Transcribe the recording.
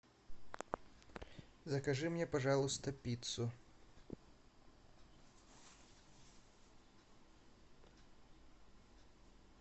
закажи мне пожалуйста пиццу